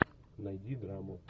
найди драму